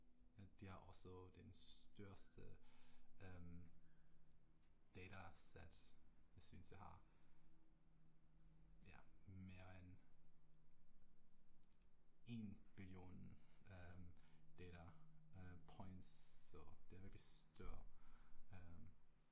At de har også den største øh datasæt jeg synes jeg har. Ja, mere end 1 billion øh data øh points, så det er virkelig stor